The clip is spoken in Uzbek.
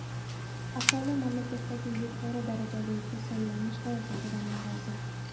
Aholi mamlakatdagi yuqori darajali kasallanish holatlaridan norozi.